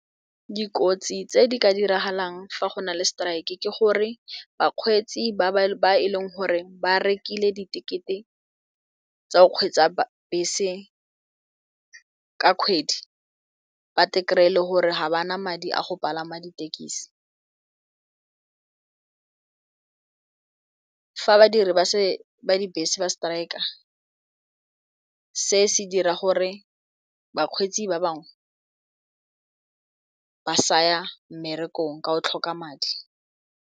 Dikotsi tse di ka diragalang fa go na le strike ke gore bakgweetsi ba e leng gore ba rekile di-ticket-e tsa o kgweetsa bese ka kgwedi ba kry-e e le gore ga ba na madi a go palama ditekisi fa badiri ba di bese ba striker se se dira gore bakgweetsi ba bangwe ba saya mmerekong ka o tlhoka madi.